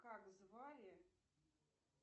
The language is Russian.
как звали